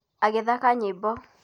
Agĩthaka nyĩmbo